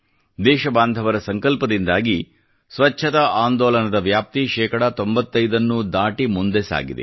ದೇಶಬಾಂಧವರ ಸಂಕಲ್ಪದಿಂದಾಗಿ ಸ್ವಚ್ಛತಾ ಆಂದೋಲನದ ವ್ಯಾಪ್ತಿ ಶೇಕಡಾ 95 ನ್ನೂ ದಾಟಿ ಮುಂದೆ ಸಾಗಿದೆ